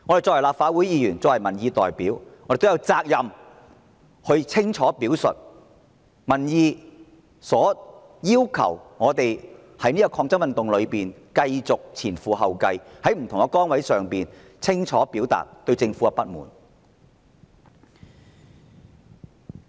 作為立法會議員和民意代表，我們也有責任清楚表達民意對我們的要求，在這場抗爭運動中繼續前仆後繼，在不同的崗位清楚表達市民對政府的不滿。